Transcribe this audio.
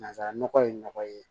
Nanzara nɔgɔ ye nɔgɔ ye